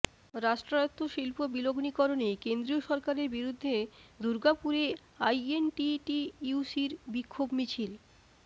রাষ্ট্রায়ত্ত শিল্প বিলগ্নিকরণে কেন্দ্রীয় সরকারের বিরুদ্ধে দুর্গাপুরে আইএনটিটিইউসির বিক্ষোভ মিছিল